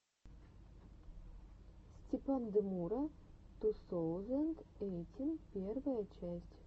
степандемура ту соузэнд эйтин первая часть